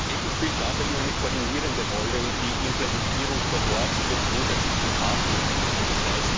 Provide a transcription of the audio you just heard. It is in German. ECHO spielt dabei nur eine koordinierende Rolle, und die Implementierung vor Ort wird grundsätzlich von Partnern übernommen, d.